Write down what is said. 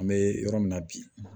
An bɛ yɔrɔ min na bi